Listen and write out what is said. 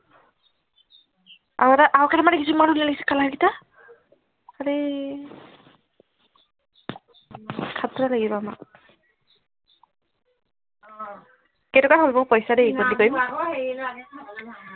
আৰু এটা আৰু কেইটা মান দেখিছো মই লিষ্ট color গিটা কেইটকা হল মোৰ পইছা দেই গণ্টি কৰিম হেই লাগে নহয়